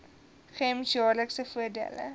gems jaarlikse voordele